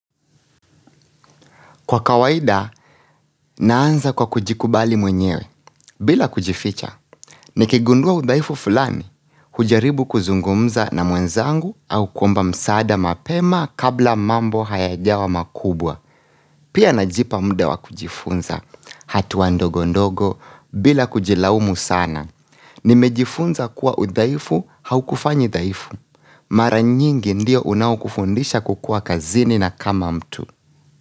Kwa kawaida, naanza kwa kujikubali mwenyewe. Bila kujificha, nikigundua udhaifu fulani, hujaribu kuzungumza na mwenzangu au kuomba msaada mapema kabla mambo hayajawa makubwa. Pia najipa muda wa kujifunza, hatuwa ndogo ndogo, bila kujilaumu sana. Nimejifunza kuwa udhaifu haukufanyi dhaifu. Mara nyingi ndio unao kufundisha kukuwa kazini na kama mtu.